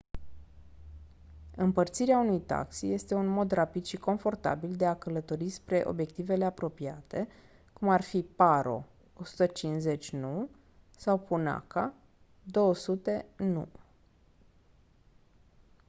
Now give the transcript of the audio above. împărțirea unui taxi este un mod rapid și confortabil de a călători spre obiectivele apropiate cum ar fi paro 150 nu sau punakha 200 nu